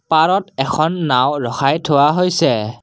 পাৰত এখন নাওঁ ৰখাই থোৱা হৈছে।